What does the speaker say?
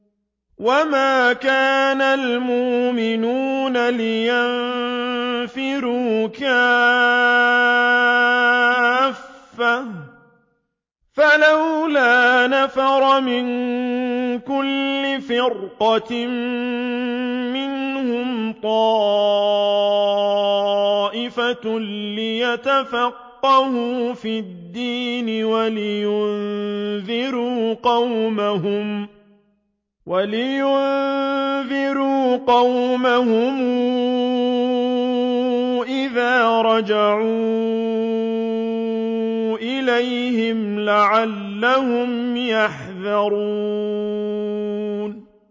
۞ وَمَا كَانَ الْمُؤْمِنُونَ لِيَنفِرُوا كَافَّةً ۚ فَلَوْلَا نَفَرَ مِن كُلِّ فِرْقَةٍ مِّنْهُمْ طَائِفَةٌ لِّيَتَفَقَّهُوا فِي الدِّينِ وَلِيُنذِرُوا قَوْمَهُمْ إِذَا رَجَعُوا إِلَيْهِمْ لَعَلَّهُمْ يَحْذَرُونَ